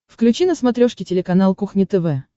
включи на смотрешке телеканал кухня тв